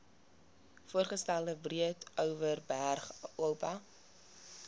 voorgestelde breedeoverberg oba